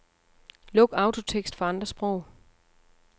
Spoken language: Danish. Luk autotekst for andre sprog.